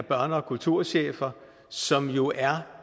kulturchefforeningen som jo er